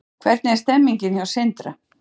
Hvernig er stemningin hjá Sindra?